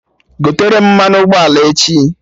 Gotere m mmanụ ụgbọala echi!